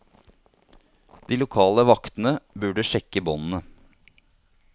De lokale vaktene burde sjekke båndene.